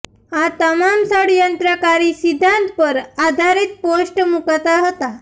આ તમામ ષડયંત્રકારી સિદ્વાંત પર આધારિત પોસ્ટ મૂકતા હતા